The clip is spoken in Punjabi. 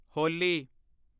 ਹੋਲੀ